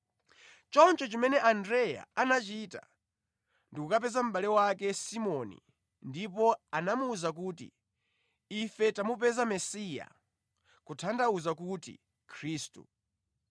Choncho chimene Andreya anachita ndi kukapeza mʼbale wake Simoni ndipo anamuwuza kuti, “Ife tamupeza Mesiya,” (kutanthauza kuti Khristu).